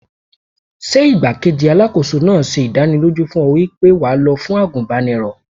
Ṣé igbá-kejì Alákóso náà ṣe ìdánilójú fún ọ wípé wà lọ fún àgùnbánirọ̀?